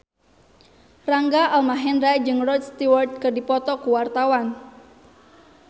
Rangga Almahendra jeung Rod Stewart keur dipoto ku wartawan